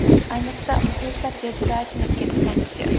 Ayniqsa, muxlislarga juda achinib ketasan kishi.